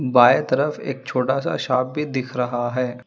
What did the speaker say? बाएं तरफ एक छोटा सा शॉप भी दिख रहा है।